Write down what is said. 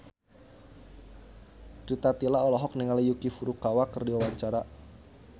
Rita Tila olohok ningali Yuki Furukawa keur diwawancara